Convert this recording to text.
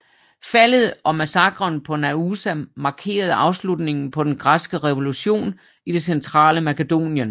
Faldet og massakren på Naousa markerede afslutningen på den græske revolution i det centrale Makedonien